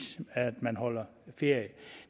at man holder ferie